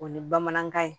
O ye bamanankan ye